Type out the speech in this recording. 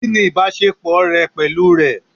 Kìnì ìbásepọ̀ rẹ pẹ̀lú rẹ̀?